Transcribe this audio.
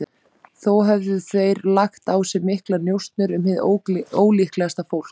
Þó höfðu þeir lagt á sig miklar njósnir um hið ólíklegasta fólk.